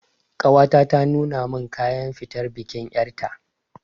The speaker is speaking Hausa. Ƙawata ta nuna min kayan fitar bikin ƴarta